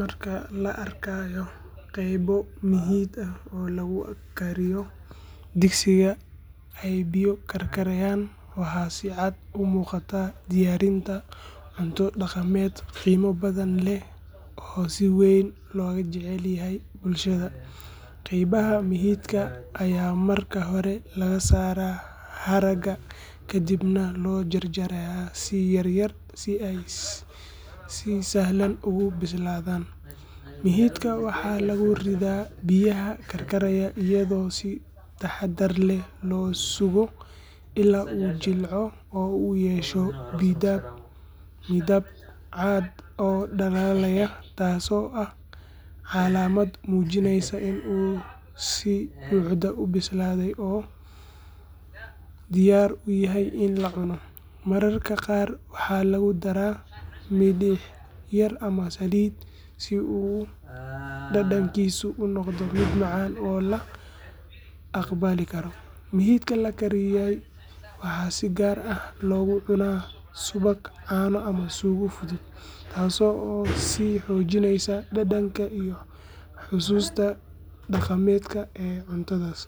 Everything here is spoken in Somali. Markaa laa arkaayo qeybo mihitka aah oo lagu kaariyo digsiiga eey biyo kaarkariyan waxa sii caad uu muqata diyariinta cuunto dhaqamed qiimo badan leeh oo sii weyn logaa jecel yahay bulshada. qeybaha mihitka aya marka hoore laga saraa haraga kadiib na loo jaar jaaraya sii yaar yaar sii eey sii sahlaan ogu bisladaan. mihitkaa waxa laguu riida biyaha karkaarayo iyado sii taxadar leeh loo sugo ilaa u jilco oo uu yesho midaab midaab cad oo dhalalaaya taaso aah calamad mujineysa iin uu sii buxda uu bislade oo diyaar uyahay iin laa cuuno mararka qar waxa lagu dara miliix yar ama saliid sii uu dhadankiisu uu noqdo miid macan oo laa aqbaali kaaro. mihitka laa kariiyay waxa sii gaar aah loguu cuuna subaak, caana ama suuga fuduud taaso oo sii xojineyso dhadanka iyo xususta dhaqamedka ee cuntadas.